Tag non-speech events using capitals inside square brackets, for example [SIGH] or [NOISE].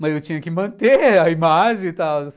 Mas eu tinha que [LAUGHS] manter a imagem e tal.